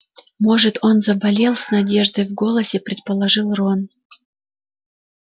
может он заболел с надеждой в голосе предположил рон